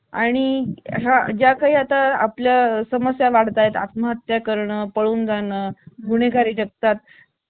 pincode असा आहे pincode क्रमांक सांगते तुम्हाला एकेचाळीस छप्पन zero तीन